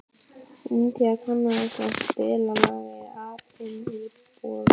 India, kanntu að spila lagið „Apinn í búrinu“?